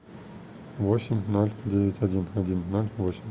восемь ноль девять один один ноль восемь